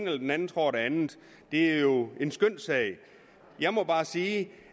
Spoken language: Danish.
eller den anden tror det andet er jo en skønssag jeg må bare sige